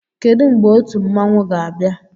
Kedụ mgbe otu mmanwụ ga-abịa?